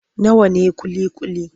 Nawa ne ƙuli-ƙuli?